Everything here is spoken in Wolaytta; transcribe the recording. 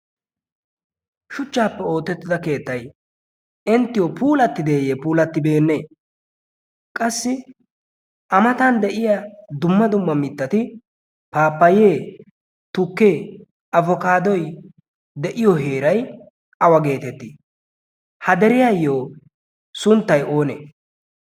shuchchaappe ootettida keettay inttiyo puulattideeyye puulattibeenne qassi amatan de'iya dumma dumma mittati paapayee tukkee abokaadoy de'iyo heerai qawa geetettii ha deriyaayyo sunttay oonee